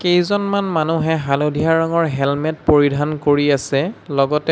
কেইজনমান মানুহে হালধীয়া ৰঙৰ হেলমেট পৰিধান কৰি আছে লগতে--